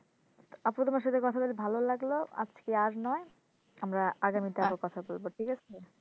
আপু তোমার সাথে কথা বলে ভালো লাগলো আজকে আর নয় আমরা আগামীতে আরও কথা বলব ঠিক আছে